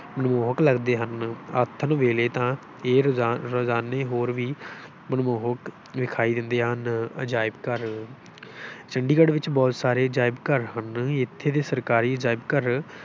ਮਨਮੋਹਕ ਲੱਗਦੇ ਹਨ, ਆਥਣ ਵੇਲੇ ਤਾਂ ਇਹ ਰਜ ਰਜਾਨੇ ਹੋਰ ਵੀ ਮਨਮੋਹਕ ਵਿਖਾਈ ਦਿੰਦੇ ਹਨ, ਅਜਾਇਬ ਘਰ ਚੰਡੀਗੜ੍ਹ ਵਿੱਚ ਬਹੁਤ ਸਾਰੇ ਅਜਾਇਬ-ਘਰ ਹਨ, ਇੱਥੇ ਦੇ ਸਰਕਾਰੀ ਅਜਾਇਬ-ਘਰ